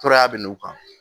Toraya bɛ n'u kan